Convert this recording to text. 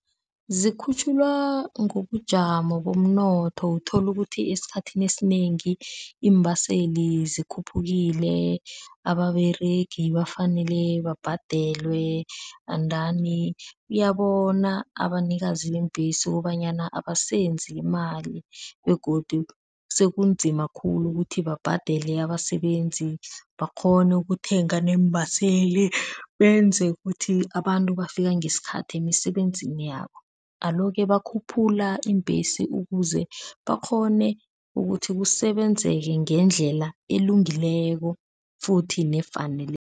Zikhutjhulwa ngobujamo bomnotho uthola ukuthi esikhathini esinengi iimbaseli zikhuphukile, ababeregi bafanele babhadelwe endani uyabona abanikazi beembhesi kobanyana abasenzi imali begodu sekunzima khulu ukuthi babhadele abasebenzi, bakghone ukuthenga neembaseli benze ukuthi abantu bafika ngesikhathi emisebenzini yabo. Alo-ke bakhuphula iimbhesi ukuze bakghone ukuthi kusebenzeka ngendlela elungileko futhi nefaneleko.